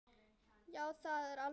Já, það er alveg satt.